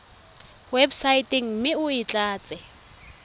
websaeteng mme o e tlatse